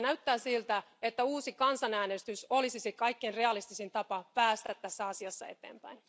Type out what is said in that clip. Näyttää siltä, että uusi kansanäänestys olisi se kaikkien realistisin tapa päästä tässä asiassa eteenpäin.